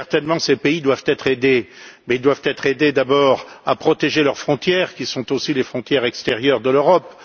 Il est certain que ces pays doivent être aidés, mais ils doivent être aidés d'abord à protéger leurs frontières qui sont aussi les frontières extérieures de l'Europe.